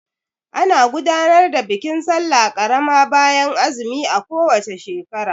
Ana gudanar da bikin sallah karama bayan azumi a ko wace shekara.